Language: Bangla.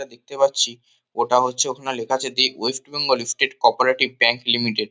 যেটা দেখতে পাচ্ছি ওটা হচ্ছে ওখানে লেখা আছে the West Bengal state cooperative bank limited.